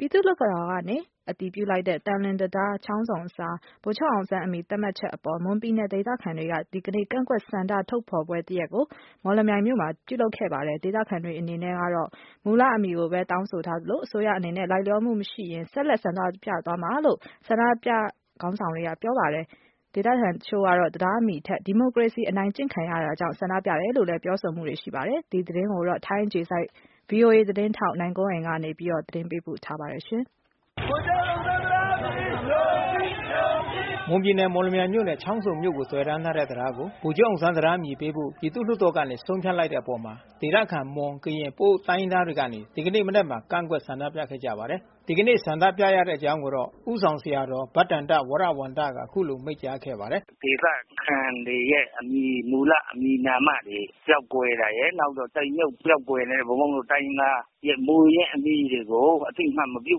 ပြည်သူ့လွှတ်တော် ကနေအတည်ပြုလိုက်တဲ့ သံလွင်တံတား-ချောင်းဆုံအစား ဗိုလ်ချုပ်အောင်ဆန်း အမည်သတ်မှတ်ချက် အပေါ် မွန်ပြည်နယ်ဒေသခံတွေကနေ ဒီကနေ့မှာ ကန့်ကွက် ဆန္ဒဖေါ်ထုတ်ပွဲ တရပ်ကို မော်လမြိုင်မြို့မှာပြုလုပ် ခဲ့ ပါတယ်။ ဒေသခံတွေအနေနဲ့ ကတော့ မူလအမည်ကိုပဲ တောင်းဆိုထားသလို အစိုးရအနေနဲ့လိုက်လျောမူမရှိရင် ဆက်လက် ဆန္ဒပြသွားမယ် လို့ဆန္ဒပြ အဖွဲ့ခေါင်းဆောင်တွေ ကပြောပါတယ်။ ဒေသခံတချို့ကတော့ တံတားအမည်ထက် ဒီမိုကရေစီ အနိုင်ကျင့်ခံရမှုတွေကြောင့် ဆန္ဒပြတယ် လို့လည်း ပြောဆိုမှုတွေ ရှိနေပါတယ်။ ထိုင်းအခြေစိုက်ဗွီအိုအေသတင်းထောက် နိုင်ကွန်းအိန် ကနေဆက်သွယ်မေးမြန်းသတင်းပေးပို့ထားပါတယ်။ မွန်ပြည်နယ်၊ မော်လမြိုင်နဲ့ချောင်းဆုံမြို့ကိုသွယ်တန်းထားတဲ့တံတားကို ဗိုလ်ချုပ်အောင်ဆန်း အမည်ပေးဖို့ပြည်သူ့လွှတ် တော်ကနေ ဆုံးဖြတ်လိုက်တဲ့အပေါ်ဒေသခံမွန်၊ ကရင် ပအိုဝ် တိုင်းရင်းသားတွေကနေ ဒီကနေ့မနက်မှာ ကန့်ကွက် ဆန္ဒပြခဲ့ကြပါတယ်။ ဒီကနေ့ဆန္ဒပြရတဲ့အကြောင်းကိုတော့ ဦးဆောင်ဆရာတော် ဘဒ္ဒန္တ ဝရဝံသ ကအခုလိုမိန့်ကြားပါတယ်။ “ဒေသခံတွေရဲ့ မူလအမည်နာမတွေပျောက်ကွယ်တာရယ်၊ ဘုန်းဘုန်းတို့ တိုင်းရင်းသားမူရင်အမည်တွေကို အသိအမှတ်မပြု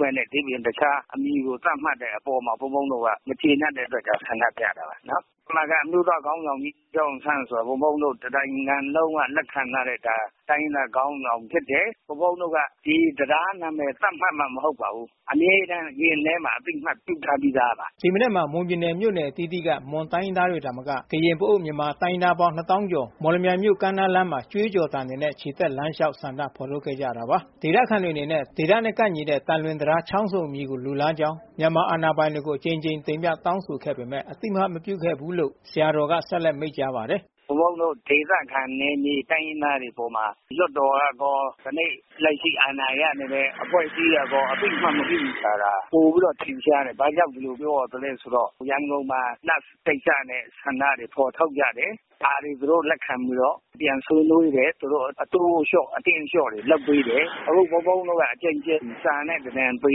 ပဲနဲ့ တခြား အမည်ကို သတ်မှတ်တဲ့အပေါ်မှာ ဘုန်းဘုန်းတို့က သတ်မှတ်တဲ့အပေါ်မှာ မကျေနပ်တဲ့အတွက် ဆန္ဒပြတာပါ။ အမျိုးသားခေါင်းဆောင်ကြီးဗိုလ်ချုပ်အောင်ဆန်းဆိုတာ ဘုန်းဘုန်းတို့ တနိုင်ငံလုံးက လက်ခံထားတဲ့ တိုင်းရင်းသားခေါင်းဆောင်ဖြစ်တယ်။ ဘုန်းဘုန်းတို့က ဒီတံတားနာမည် သတ်မှတ်မှ မဟုတ်ပါဘူး အမြဲတမ်းရင်ထဲမှာ အသိအမှတ်ပြုထား ပြီးသားပါ။” ဒီမနက်မှာ မွန်ပြည်နယ်မြို့နယ်အသီးသီးက မွန်တိုင်းရင်းသားတွေ သာမက ကရင်၊ ပအိုဝ် မြန်မာတိုင်းရင်းသားပေါင်း နှစ် သောင်းကျော် မော်လမြိုင်မြို့ ကမ်းနားလမ်းမှာ ကြွေးကျော်သံတွေ နဲ့ချီတက်လမ်းလျှောက် ဆန္ဒဖေါ်ထုတ် ခဲ့ကြတာပါ။ ဒေသခံတွေအနေနဲ့ ဒေသနဲ့ကိုက်ညီတဲ့ သံလွင်တံတားချောင်းဆုံအမည်ကိုလိုလားကြောင်း မြန်မာအာဏာပိုင်တွေကို အကြိမ်ကြိမ်တင်ပြတောင်းဆိုခဲ့ပေမဲ့ အသိမှတ်မပြုခဲ့ဘူးလို့ ဆရာတော်ကဆက်လက်မိန့်ကြားပါတယ်။ “ဘုန်းဘုန်းတို့ ဒေသခံ နယ်မြေတိုင်းရင်းသားတွေအပေါ်မှာ လွှတ်တော်ကရော၊ ယနေ့ လက်ရှိအာဏာရနေတဲ့ အဖွဲ့အစည်းတွေကရော အသိအမှတ်မပြုဘူးဆိုတာ ပိုပြီးတော့ ထင်ရှားတယ် ဘာကြောင့်ဒီလိုမျိုး ရန်ကုန်မှာ Nurse ကိစ္စနဲ့ ဆန္ဒတွေဖော်ထုတ်ကြတယ် ဒါတွေသူတို့လက်ခံပြီးတော့ ပြန်ဆွေးနွေးတယ်။ သူတို့ အတင်းအလျှော့တွေလုပ်ပေးတယ်။ အခုဘုန်းဘုန်းတို့က စာနဲ့ပေ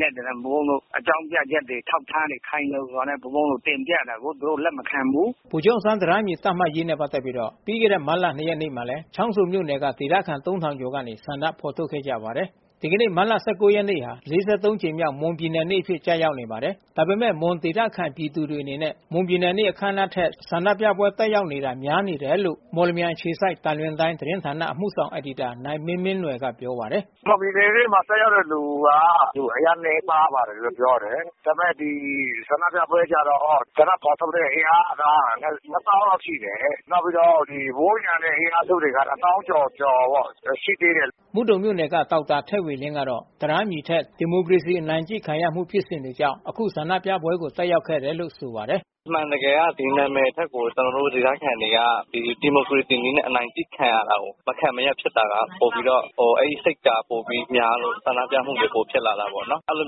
နဲ့ အကြောင်းပြချက်တွေ အထောက်အထားတွေ ခိုင်ခိုင်လုံလုံနဲ့ တင်ပြတာကို လက်မခံဘူး။” ဗိုလ်ချုပ်အောင်ဆန်းတံတားအမည်သတ်မှတ်ရေးနဲ့ပက်သက်ပြီး ပြီးခဲ့တဲ့မတ်လ ၂ ရက်နေ့မှာလဲ ချောင်းဆုံမြို့နယ်က ဒေသခံ ၃၀၀၀ ကျော်ကနေ ဆန္ဒဖော်ထုတ်ခဲ့ကြပါတယ်။ ဒီကနေ့မတ်လ ရက်နေ့ဟာ ကြိမ်မြောက်မွန်ုပြည်နေ့အဖြစ်ကျရောက်နေပါတယ်။ ဒါပေမဲ့ မွန်ဒေသခံပြည်သူ တွေအနေနဲ့ မွန်ပြည်နယ်နေ့အခန်းအနားထက် ဆန္ဒပြပွဲတက်ရောက်တာ များနေတယ်လို့ မော်လမြိုင်အခြေစိုက်သံလွင် တိုင်း သတင်းဌာနအမှုဆောင် အယ်ဒီတာနိုင်မင်းမင်းနွယ်ကပြောပါတယ်။ “မွန်ပြည်နယ်နေ့မှာ တက်ရောက်တဲ့လူက အရမ်းနည်းတယ်လို့ပြောတယ် ။ဒီ ဆန္ဒပြပွဲကျတော့ ဆန္ဒဖော်ထုတ်တဲ့အင်အားက ၂ သောင်းလောက်ရှိတယ်။ နောက်ပြီးတော့ ဝန်းရံတဲ့ အင်အားစုတွေကတော့ ၂ သောင်းကျော်ကျော် ရှိသေးတယ်။” မုဒုံမြို့နယ်က ဒေါက်တာ ထက်ဝေလင်းကတော့ တံတားအမည်ထက် ဒီမိုကရေစီအနိုင်ကျင့်ခံရ မှုကိုဖြစ်စဉ်တွေကြောင့် အခုဆန္ဒပြပွဲ ကိုတက်ရောက်ခဲ့တယ်လို့ဆိုပါတယ်။ “အမှန်တကယ်ကဒီနာမည်ထက်ကို ဒေသခံတွေက ဒီမိုကရေစီနည်းနဲ့အနိုင်ကျင့်ခံရတာကို မခံမရပ်ဖြစ်တဲ့စိတ်က ပိုပြီးတော့များလို့ ဆန္ဒပြမှုတွေ ပိုပြီးတော့ ဖြစ်လာတာပေါ့နော် အဲလို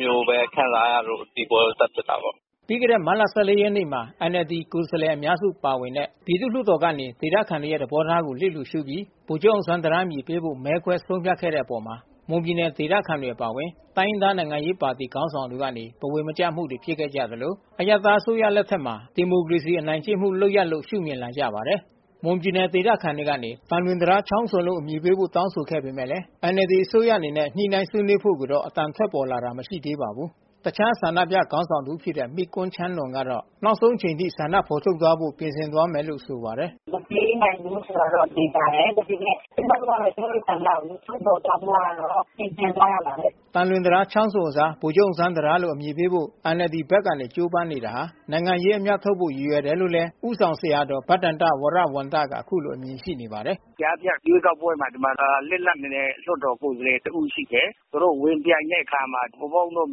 မျိုးခံစားရလို့ ဒီဆန္ဒပြပွဲကို တက်ဖြစ်တာပေါ့နော်။” ပြီးခဲ့တဲ့ မတ်လ ရက်နေ့မှာ NLDကိုယ်စားလှယ်အများစုပါဝင်တဲ့ ပြည်သူ့လွှတ်တော်ကနေ ဒေသခံတွေရဲ့ သဘောထား ကိုလစ်လျှူရှုပြီး ဗိုလ်ချုပ်အောင်ဆန်းတံတားအမည်ပေးဖို့မဲခွဲဆုံးဖြတ်ခဲ့တဲ့အပေါ် မွန်ပြည်နယ်ဒေသခံ တွေအပါအဝင် တိုင်းရင်းသားနိုင်ငံရေးပါတီခေါင်းဆောင်တွေကနေ ဘဝင်မကျမှုတွေဖြစ်ခဲ့ကြသလို အရပ်သားအစိုးရ လက်ထက်မှာဒီမိုကရေစီအနိုင်ကျင့်မှုလုပ်ရပ်လို့ရှုမြင်လာကြပါတယ်။ မွန်ပြည်နယ်ဒေသခံတွေကနေ သံလွင်တံတားချောင်းဆုံအမည်ပေးဖို့တောင်းဆိုပေမဲ့လဲ NLDအစိုးရအနေနဲ့ ညှိနှိုင်း ဆွေးနွေးဖို့ကိုတော့ အသံထွက်ပေါ်လာတာမရှိသေးပါဘူး။ တခြားဆန္ဒပြခေါင်းဆောင်တဦးဖြစ်တဲ့ မိကွန်းချမ်းနွန်ကတော့ နောက်ဆုံးအချိန်အထိဆန္ဒထုတ်ဖေါ်ဖို့ပြင်ဆင် သွားမယ် လို့ ဆိုပါတယ်။ “မပေးနိုင်ဘူးဆိုတာကတော့ သေချာတယ်။ ကျမတို့ကတော့ ကျမတို့ ဆန္ဒကို ထုတ်ဖော်သွားဖို့ကတော့ ပြင်ဆင်ရမှာပဲ။” သံလွင်တံတားချောင်းဆုံအစား ဗိုလ်ချုပ်အောင်ဆန်းတံတားလို့အမည်ပေးဖို့ NLDဘက်ကကြိုးပမ်းနေတာဟာ နိုင်ငံရေး အမြတ်ထုတ်ဖို့ရည်ရွယ်တယ်လို့လဲ ဦးဆောင်ဆရာတော် ဘဒ္ဒန္တဝရဝံသ ကအခုလိုအမြင်ရှိနေပါတယ်။ “ကြားဖြတ်ရွေးကောက်ပွဲမှာ ဒီမှာလစ်လပ်နေတဲ့ ကိုယ်စားလှယ်တဦးရှိတယ်။ သူတို့ ဝင်ပြိုင်တဲ့အခါမှာ ဘုန်းဘုန်းတို့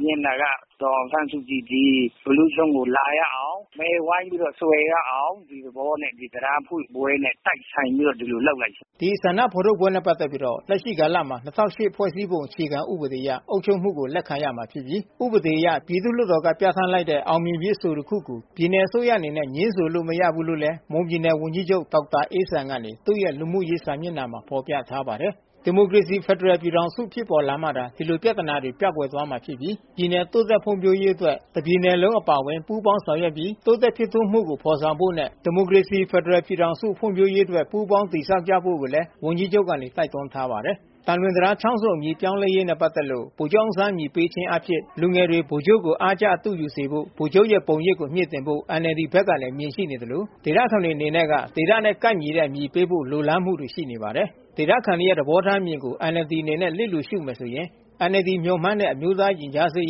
မြင်တာကတော့ ဒေါ်အောင်ဆန်းစုကြည် ဘီလူးကျွန်းကို လာရအောင် ၊ မဲဝိုင်းပြီးတော့ ဆွယ်ရအောင် ဒီသဘောနဲ့ ဒီတံတားဖွင့်ပွဲနဲ့ တိုက်ဆိုင်ပြီးတော့ ဒီလိုလုပ်လိုက်တာ ဖြစ်တယ်။” ဒီဆန္ဒဖေါ်ထုတ်ပွဲနဲ့ပက်သက်ပြီး လက်ရှိကာလမှာ ဖွဲ့စည်းပုံ အခြေခံဥပဒေအရ အုပ်ချုပ်မှု့ကို လက်ခံရမှာဖြစ်ပြီး ဥပဒေအရ ပြည့်သူ့လွှတ်တော်က ပြဌာန်းလိုက်တဲ့အောင်မြင်ပြီးအဆိုတစ်ခုကို ပြည်နယ်အစိုးရအနေနဲ့ ငြင်းဆိုလို့ မရဘူးလို့လဲ မွန်ပြည်နယ်ဝန်ကြီးချုပ်ဒေါက်တာအေးဇံကနေသူရဲ့လူမှုရေးစာမျက်နှာမှာဖေါ်ပြထားပါတယ်။ ဒီမိုကရေစီဖက်ဒရယ်ပြည်ထောင်စု ဖြစ်ပေါ်လာမှသာ ဒီလိုပြဿနာတွေပျောက်ကွယ်သွားမှာဖြစ်ပြီး ပြည်နယ် တိုး တက်ဖွံဖြိုးရေးအတွက် တပြည်နယ်လုံးအပါအဝင် ပူးပေါင်းဆောင်ရွက်ပြီး တိုးတက်ဖြစ်ထွန်းမှု့ကို ဖော်ဆောင်ဖို့နဲ့ ဒီမို ကရေစီ ဖယ်ဒရယ်ပြည်ထောင်စု ဖွံဖြိုးရေးအတွက်ပူးပေါင်းတည်ဆောက်ကြဖို့ကိုလဲ ဝန်ကြီးချုပ်ကနေတိုက်တွန်းထား ပါတယ်။ သံလွင်တံတားချောင်းဆုံအမည်ပြောင်းလဲရေးနဲ့ပက်သက်လို့ ဗိုလ်ချုပ်အောင်ဆန်းအမည်ပေးခြင်းအားဖြင့် လူငယ်တွေဗိုလ်ချုပ်ကိုအားကျအတုယူစေဖို့ ဗိုလ်ချုပ်ရဲ့ပုံရိပ်ကိုမြှင့်တင်ဖို့NLDဘက်ကအမြင်တွေရှိနေကြသလို ဒေသခံ တွေအနေနဲ့က ဒေသနဲ့ ကိုက်ညီတဲ့အမည်ပေးဖို့လိုလားမှုတွေရှိနေပါတယ်။ ဒေသခံတွေရဲ့သဘောထားအမြင်ကိုNLDအနေနဲ့လစ်လျူရှုမယ်ဆိုရင် NLD မျှော်မှန်းတဲ့ အမျိုးသားရင်ကြားစေ့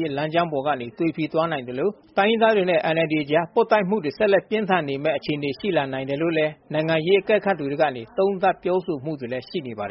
ရေး လမ်းကြောင်းပေါ်ကနေသွေဖီသွားနိုင်သလို တိုင်းရင်းသားတွေနဲ့NLDအကြားပွတ်တိုက်မှုတွေ ဆက်လက်ပြင်းထန်နေမယ့် အခြေအနေရှိလာနိုင်တယ်လို့ နိုင်ငံရေးအကဲခတ်သူတွေကနေ သုံးသပ်ပြောဆိုမှုတွေလဲရှိနေပါတယ်